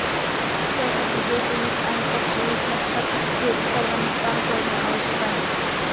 त्यासाठी देशहित आणि पक्षहित लक्षात घेत सर्वांनी काम करणे आवश्यक आहे